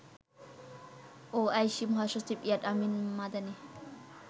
OIC মহাসচিব Iyad Ameen Madani